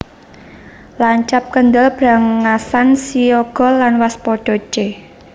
Lancap kendel brangasan siyaga lan waspada c